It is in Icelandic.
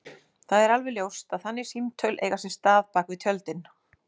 Það er alveg ljóst að þannig símtöl eiga sér stað bak við tjöldin.